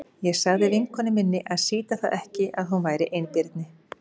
Ég sagði vinkonu minni að sýta það ekki að hún væri einbirni.